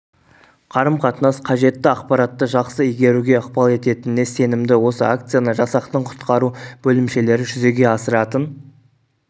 қарым-қатынас қажетті ақпаратты жақсы игеруге ықпал ететініне сенімді осы акцияны жасақтың құтқару бөлімшелері жүзеге асыратын